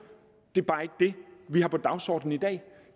det er bare ikke det vi har på dagsordenen i dag